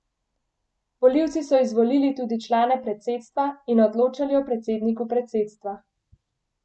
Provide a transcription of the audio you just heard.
Volivci so izvolili tudi člane predsedstva in odločali o predsedniku predsedstva.